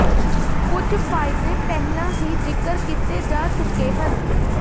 ਕੁਝ ਫਾਇਦੇ ਪਹਿਲਾਂ ਹੀ ਜ਼ਿਕਰ ਕੀਤੇ ਜਾ ਚੁੱਕੇ ਹਨ